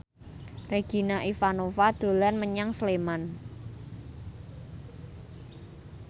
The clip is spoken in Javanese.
Regina Ivanova dolan menyang Sleman